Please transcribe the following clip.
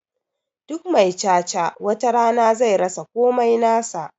Duk mai cha-cha watarana zai rasa komai nasa